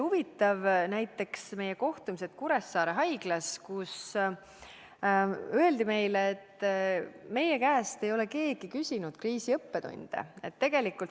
Huvitav oli see, et Kuressaare haiglas öeldi meile, et nende käest ei ole keegi kriisi õppetundide kohta küsinud.